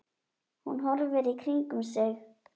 Hún horfir í kringum sig.